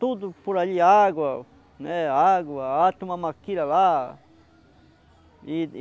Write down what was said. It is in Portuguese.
Tudo por ali, água, né, água, a toma maquilha lá. E e